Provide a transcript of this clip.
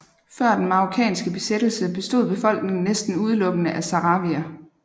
Før den marokkanske besættelse bestod befolkningen næsten udelukkende af sahrawier